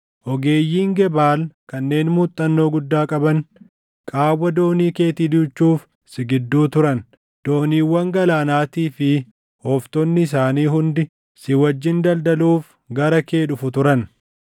Ogeeyyiin Gebaal kanneen muuxannoo guddaa qaban, qaawwa doonii keetii duuchuuf si gidduu turan. Dooniiwwan galaanaatii fi ooftonni isaanii hundi, si wajjin daldaluuf gara kee dhufu turan.